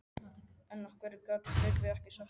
En af hverju gat Tryggvi ekki sagt neitt?